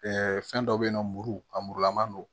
fɛn dɔ bɛyinɔ muru a murulaman don